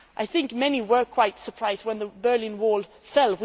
I think many were quite surprised when the Berlin Wall fell.